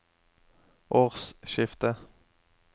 årsskiftet